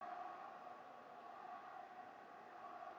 Konan var á lífi og öll að hjarna við eftir sjokkið.